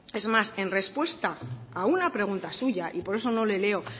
es más en respuesta a una pregunta suya y por eso no le leo